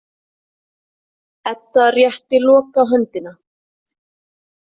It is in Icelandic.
Edda rétti Loka höndina.